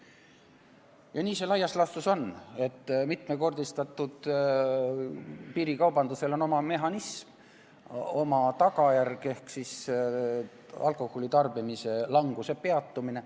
Ja nii see laias laastus on, et mitmekordistatud piirikaubandusel on oma mehhanism, oma tagajärg ehk siis alkoholi tarbimise languse peatumine.